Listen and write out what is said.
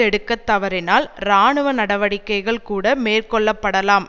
எடுக்க தவறினால் இராணுவ நடவடிக்கைகள் கூட மேற்கொள்ளப்படலாம்